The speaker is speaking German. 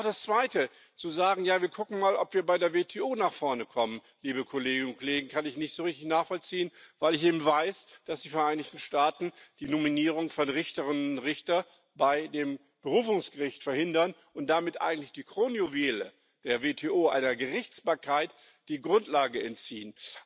Und auch das Zweite zu sagen Ja wir gucken mal, ob wir bei der WTO nach vorne kommen, liebe Kolleginnen und Kollegen kann ich nicht so richtig nachvollziehen, weil ich eben weiß, dass die Vereinigten Staaten die Nominierung von Richterinnen und Richtern bei dem Berufungsgericht verhindern und damit eigentlich dem Kronjuwel der WTO, einer Gerichtsbarkeit, die Grundlage entziehen.